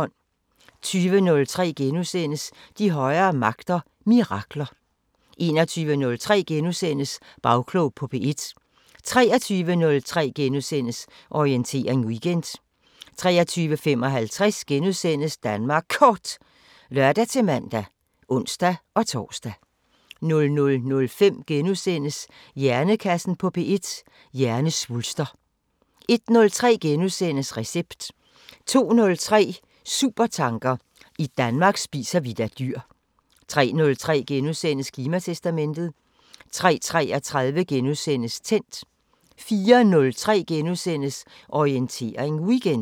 20:03: De højere magter: Mirakler * 21:03: Bagklog på P1 * 23:03: Orientering Weekend * 23:55: Danmark Kort *(lør-man og ons-tor) 00:05: Hjernekassen på P1: Hjernesvulster * 01:03: Recept * 02:03: Supertanker: I Danmark spiser vi da dyr 03:03: Klimatestamentet * 03:33: Tændt * 04:03: Orientering Weekend *